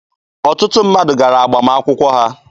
Ọtụtụ mmadụ gara agbamakwụkwọ ha.